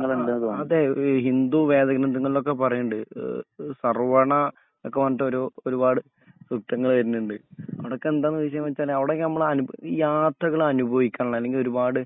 ആ ആ അതെ ഈ ഹിന്ദു വേദഗ്രന്തങ്ങളിലൊക്കെ പറേണ്ണ്ട് ഏഹ് ഏഹ് സർവണ നൊക്കെ പറഞ്ഞട്ട് ഒരുപാട് കൃപ്‌തങ്ങൾ വേര്ണ്ട് അവടൊക്കെന്ത വിഷയംവെച്ച അവിടൊക്കെ നമ്മൾ അനു യാത്രകളൊക്കെ അനുഭവിക്കളേ അല്ലെങ്കി ഒരുപാട്